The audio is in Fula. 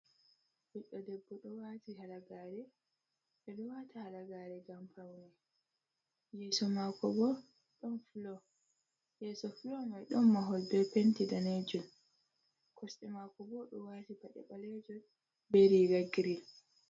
Ɓiddo debbo ɗo wati halagare, ɓe ɗo wata halagare ngam paune, yeeso mako bo ɗon flow, yeso flow mai ɗon mahol be penti danejum. Kosɗe mako bo ɗo wati paɗe ɓalejum, be riga girin.